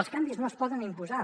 els canvis no es poden imposar